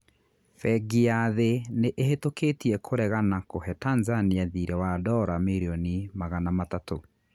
Bengi ya thĩ nĩ ĩhitũkĩtie kũregana kũhe Tanzania thiirĩ wa ndora mirioni magana matatũ.